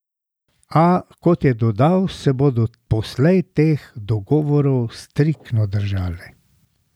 A, kot je dodal, se bodo poslej teh dogovorov striktno držali.